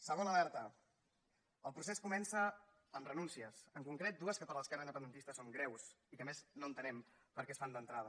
segona alerta el procés comença amb renúncies en concret amb dues que per a l’esquerra independentista són greus i que a més no entenem perquè es fan d’entrada